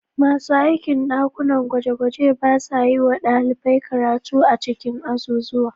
Masu aikin ɗakunan gwaje-gwaje ba sa yi wa ɗalibai karatu a cikin azuzuwa